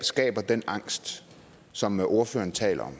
skaber den angst som ordføreren taler